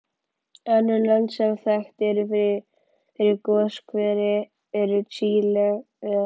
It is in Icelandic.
Önnur lönd sem þekkt eru fyrir goshveri eru Chile, El